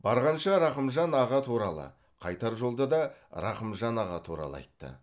барғанша рақымжан аға туралы қайтар жолда да рақымжан аға туралы айтты